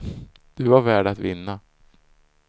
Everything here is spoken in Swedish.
Du var värd att vinna.